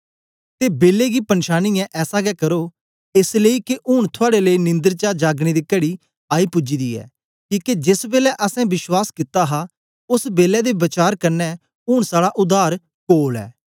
ते बेलै गी पंछानियै ऐसा गै करो एस लेई के ऊन थुआड़े लेई निंदर चा जागने दी घड़ी आई पूज्जी दी ऐ किके जेस बेलै असैं विश्वास कित्ता हा ओस बेलै दे वचार कन्ने ऊन साड़ा उद्धार कोल ऐ